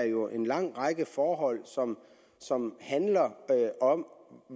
jo er en lang række forhold som som handler om